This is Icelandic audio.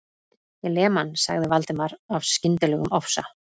Ég lem hann.- sagði Valdimar af skyndilegum ofsa